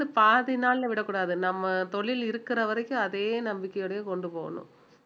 வந்து பாதி நாள்ல விடக்கூடாது நம்ம தொழில் இருக்கிற வரைக்கும் அதே நம்பிக்கையோடயே கொண்டு போகனும்